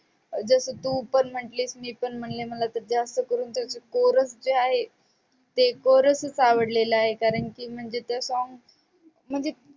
जसं तू पण म्हंटलीस मी पण म्हंटले मला कोरस जे आहे ते कोरसच आवडलेलं आहे. कारण की म्हणजे ते song म्हणजे